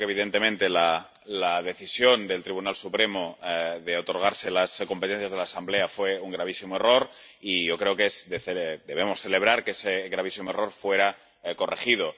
Yo creo que, evidentemente, la decisión del Tribunal Supremo de otorgarse las competencias de la Asamblea fue un gravísimo error, y creo que debemos celebrar que ese gravísimo error fuera corregido.